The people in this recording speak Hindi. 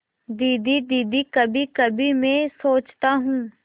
दीदी दीदी कभीकभी मैं सोचता हूँ